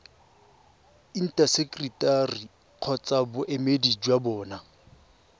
intaseteri kgotsa boemedi jwa bona